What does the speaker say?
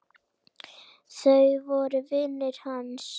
Þau voru vinir hans.